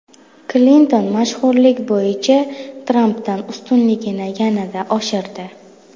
Klinton mashhurlik bo‘yicha Trampdan ustunligini yanada oshirdi.